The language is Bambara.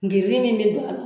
Giiri min be don a la